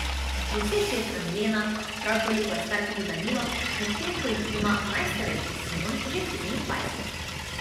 Desetletna Milena, prav toliko je star tudi Danilo, medtem ko jih ima najstarejši Simon že triindvajset.